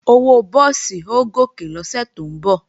Owó búùsì ó gòkè lọ́sẹ̀ tó ń bọ̀